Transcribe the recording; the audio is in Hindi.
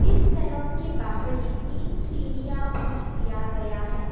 इस सैलून के बाहर ही तीन सीरीयां भी दिया गया है।